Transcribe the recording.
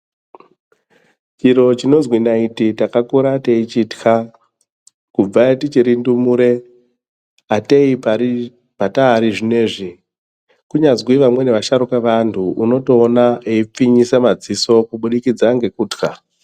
Chiro chinozwi naiti takakura techitya kubva tichiri ndumure atei patari zvinezvi kunyazi vasharuka eandu unotona eipfinyisa madziso kubudikidza ngukutya.